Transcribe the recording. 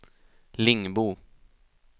Lingbo